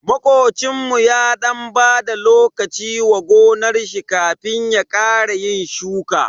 Makocinmu ya dan bada lokaci wa gonar shi kafin ya ƙara yin shuka.